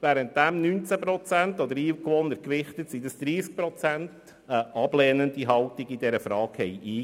während 19 Prozent, oder nach Einwohnern gewichtet 30 Prozent, eine ablehnende Haltung dazu einnahmen.